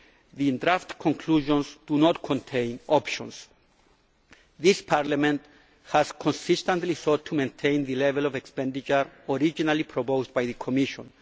MFF. The draft conclusions do not contain options. This Parliament has consistently sought to maintain the level of expenditure originally proposed by the Commission.